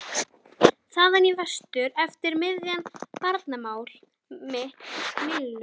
. þaðan í vestur eftir miðjum Barmaál mitt millum?